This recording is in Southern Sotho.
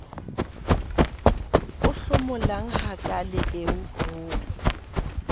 o hlomolang hakaale eo ho